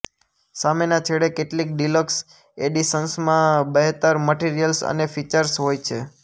સામેના છેડે કેટલીક ડીલક્સ એડિશન્સમાં બહેતર મટીરીયલ્સ અને ફીચર્સ હોય છે